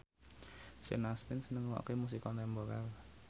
Sean Astin seneng ngrungokne musik kontemporer